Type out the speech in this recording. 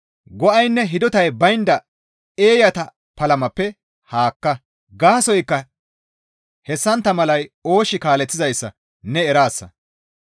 Go7aynne hidotay baynda eeyata palamappe haakka; gaasoykka hessantta malay oosh kaaleththizayssa ne eraasa.